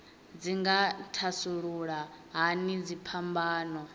dzi nga thasulula hani dziphambano